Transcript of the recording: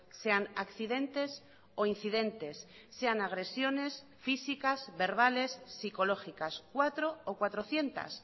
sean accidentes o incidentes sean agresiones físicas verbales psicológicas cuatro o cuatrocientos